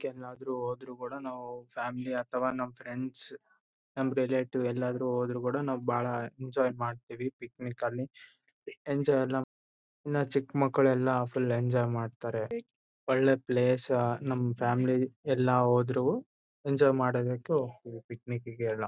Trip ಗೆ ಏನಾದರು ಹೋದ್ರು ಕೂಡ ನಾವು ಫ್ಯಾಮಿಲಿ ಅಥವಾ ನಾವು ಫ್ರೆಂಡ್ಸ್ ರಿಲೇಟಿವ್ಸ್ ಎಲ್ಲಾದರೂ ಹೋದ್ರು ಕೂಡ ನಾವು ಬಹಳ ಎಂಜಾಯ್ ಮಾಡ್ತೀವಿ ಪಿಕ್ನಿಕ್ ನಲ್ಲಿ ಎಂಜಾಯ್ ಎಲ್ಲ ಇನ್ನ ಚಿಕ್ಕ್ ಮಕ್ಕಳು ಎಲ್ಲ ಫುಲ್ ಎಂಜಾಯ್ ಮಾಡ್ತಾರೆ ಒಳ್ಳೆ ಪ್ಲೇಸ್ ನಮ್ ಫ್ಯಾಮಿಲಿ ಎಲ್ಲ ಹೋದ್ರು ಎಂಜಾಯ್ ಮಾಡ್ಬೇಕು ಪಿಕ್ನಿಕ್ ಗೆ ಎಲ್ಲ.